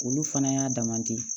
Olu fana y'a dama ten